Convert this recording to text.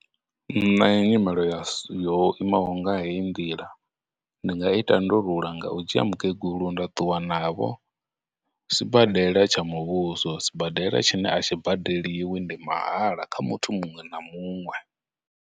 Nṋe nyimelo ya yo imaho nga heyi ndila, ndi nga i tandulula nga u dzhia mukegulu nda ṱuwa navho sibadela tsha muvhuso, sibadela tshine a tshi badeliwi, ndi mahala kha muthu muṅwe na muṅwe.